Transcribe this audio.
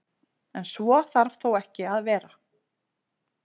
En svo þarf þó ekki að vera.